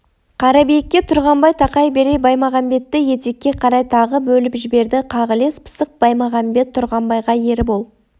қарабиікке тұрғанбай тақай бере баймағамбетті етекке қарай тағы бөліп жіберді қағілез пысық баймағамбет тұрғанбайға ербол